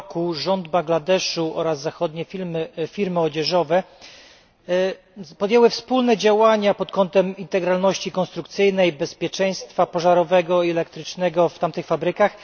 r. rząd Bangladeszu oraz zachodnie firmy odzieżowe podjęli wspólne działania pod kątem integralności konstrukcyjnej, bezpieczeństwa pożarowego i elektrycznego w tamtych fabrykach.